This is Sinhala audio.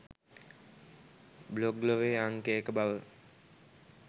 බ්ලොග් ලොවේ අංක එක බව